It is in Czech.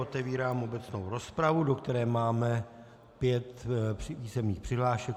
Otevírám obecnou rozpravu, do které máme pět písemných přihlášek.